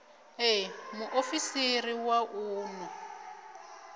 ṋee muofisiri wa u unḓwa